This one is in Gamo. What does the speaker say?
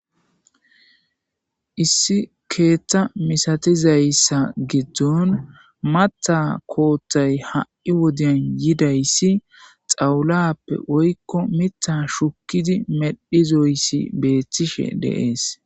issi keeththa misatizayssa giddon matha koothtay ha7i wodeyan yidayssi xawulappe woyko mitha shukkidi medhizoyssi beethtishe deees